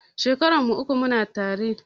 Shekarar mu uku muna tare